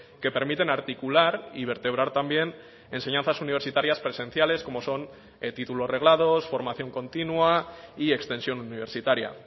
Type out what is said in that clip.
que permiten articular y vertebrar también enseñanzas universitarias presenciales como son títulos reglados formación continua y extensión universitaria